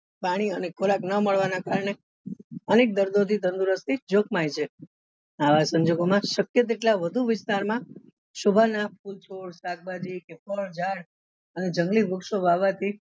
પાણી અને ખોરાક નાં મળવા ના કારણે અનેક દર્દો થી તંદુરસ્તી આવા સંજોગો માં શક્ય તેટલા વધુ વિસ્તાર માં શોભા ના ફૂલ છોડ શાકભાજી કે કે ફળ ઝાડ અને જંગલી વૃક્ષો વાવવા થી